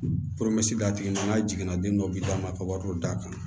a tigi nana n k'a jiginna den dɔ bi d'a ma ka wariw d'a kan